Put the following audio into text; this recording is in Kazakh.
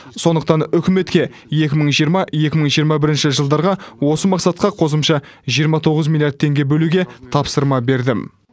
сондықтан үкіметке екі мың жиырма екі мың жиырма бірінші жылдарға осы мақсатқа қосымша жиырма тоғыз миллиард теңге бөлуге тапсырма бердім